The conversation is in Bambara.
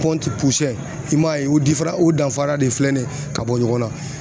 i m'a ye o diferan u danfara de filɛ nin ye ka bɔ ɲɔgɔn na.